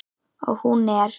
Og hún er.